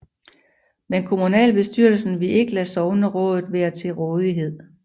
Men kommunalbestyrelsen ville ikke lade sognerådslokalet være til rådighed